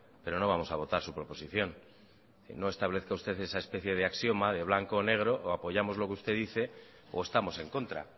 pero no vamos a votar su proposición no establezca usted esa especie de axioma de blanco o negro o apoyamos lo que usted dice o estamos en contra